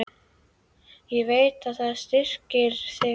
Ég veit að það styrkir þig.